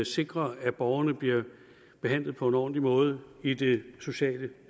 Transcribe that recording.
sikre at borgerne bliver behandlet på en ordentlig måde i det sociale